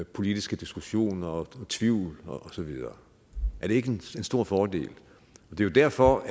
politiske diskussioner tvivl osv er det ikke en stor fordel det er jo derfor